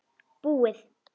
Búið!